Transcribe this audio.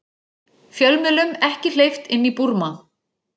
Fjölmiðlum ekki hleypt inn í Búrma